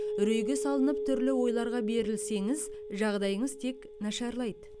үрейге салынып түрлі ойларға берілсеңіз жағдайыңыз тек нашарлайды